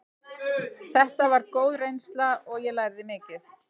Þetta var góð reynsla og ég lærði mikið.